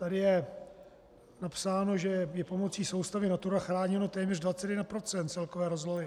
Tady je napsáno, že je pomocí soustavy Natura chráněno téměř 21 % celkové rozlohy.